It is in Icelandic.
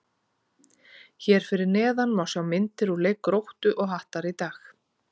Hér fyrir neðan má sjá myndir úr leik Gróttu og Hattar í dag.